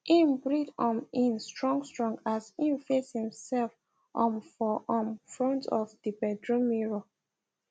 im breath um in strong strong as im face imself um for um front of the bedroom mirror